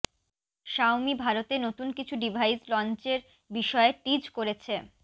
সাওমি ভারতে নতুন কিছু ডিভাইস লঞ্চের বিষয়ে টিজ করেছে